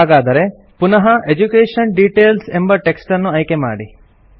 ಹಾಗಾದರೆ ಪುನಃ education details ಎಂಬ ಟೆಕ್ಸ್ಟನ್ನು ಆಯ್ಕೆಮಾಡಿ